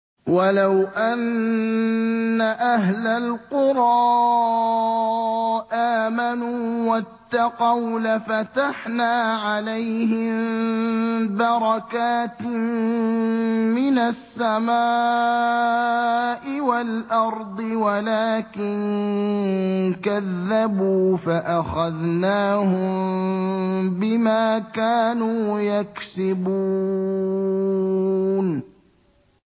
وَلَوْ أَنَّ أَهْلَ الْقُرَىٰ آمَنُوا وَاتَّقَوْا لَفَتَحْنَا عَلَيْهِم بَرَكَاتٍ مِّنَ السَّمَاءِ وَالْأَرْضِ وَلَٰكِن كَذَّبُوا فَأَخَذْنَاهُم بِمَا كَانُوا يَكْسِبُونَ